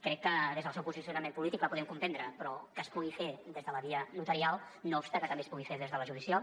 crec que des del seu posicionament polític la podem comprendre però que es pugui fer des de la via notarial no obsta que també es pugui fer des de la judicial